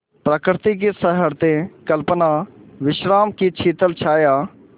प्रकृति की सहृदय कल्पना विश्राम की शीतल छाया